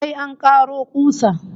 Sai an karo kusa